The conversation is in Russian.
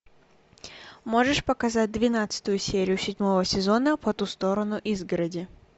можешь показать двенадцатую серию седьмого сезона по ту сторону изгороди